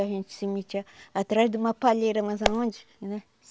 A gente se metia atrás de uma palheira, mas aonde? Né